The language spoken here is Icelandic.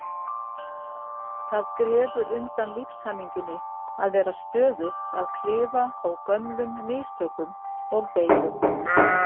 Það grefur undan lífshamingjunni að vera stöðugt að klifa á gömlum mistökum og deilum.